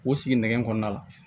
K'o sigi nɛgɛ kɔ la la